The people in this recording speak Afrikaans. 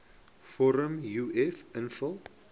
vorm uf invul